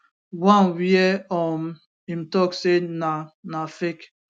one wia um im tok say na na fake